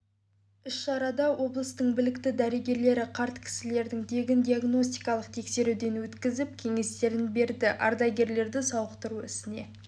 іс-шарада облыстың білікті дәрігерлері қарт кісілерді тегін диагностикалық тексеруден өткізіп кеңестерін берді ардагерлерді сауықтыру ісіне